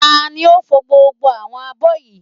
Tani ò fò gbogbo àwọn abọ́ yìí?